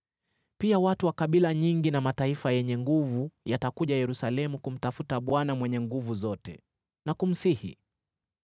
Pia watu wa kabila nyingi na mataifa yenye nguvu yatakuja Yerusalemu kumtafuta Bwana Mwenye Nguvu Zote na kumsihi.”